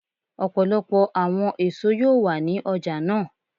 Ọpọlọpọ awọn eso yoo wa ni ọja naa.